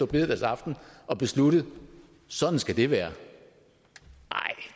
bededagsaften og besluttet at sådan skal det være